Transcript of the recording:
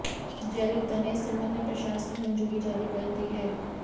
जयललिता ने इस संबंध में प्रशासनिक मंजूरी जारी कर दी है